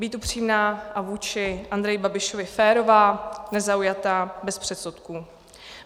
Být upřímná a vůči Andreji Babišovi férová, nezaujatá, bez předsudků.